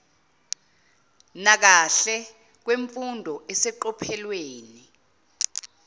nakahle kwemfundo eseqophelweni